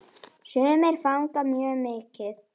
Sumir fagna mjög mikið.